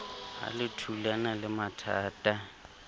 ha le thulana le mathatha